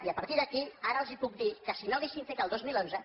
i a partir d’aquí ara els puc dir que si no haguéssim fet el dos mil onze